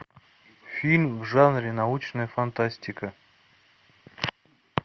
фильм в жанре научная фантастика